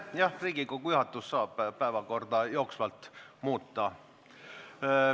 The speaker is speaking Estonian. Jah, Riigikogu juhatus saab päevakorda jooksvalt muuta.